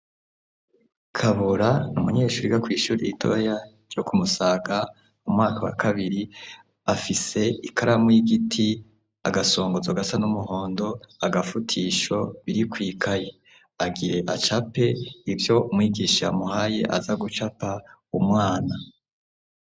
Kabura n'umunyeshure yiga kw'ishuri ritoya yo ku Musaga mu mwaka wa kabiri, afise ikaramu y'igiti agasongozo gasa n'umuhondo, agafutisho biri kw'ikaye agire acape ivyo umwigisha yamuhaye aza gucapa umwana.